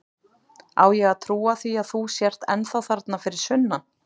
Á ég að trúa því að þú sért ennþá þarna fyrir sunnan?